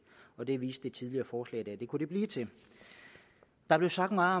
og det viste det tidligere forslag i kunne blive til der blev sagt meget